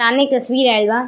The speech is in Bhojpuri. सामने एक तस्वीर आइल बा।